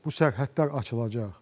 bu sərhədlər açılacaq.